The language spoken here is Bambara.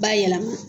Ba yɛlɛma